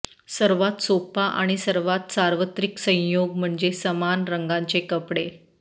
सर्वात सोपा आणि सर्वात सार्वत्रिक संयोग म्हणजे समान रंगाचे कपडे